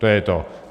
To je to.